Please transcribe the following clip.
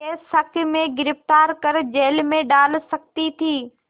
के शक में गिरफ़्तार कर जेल में डाल सकती थी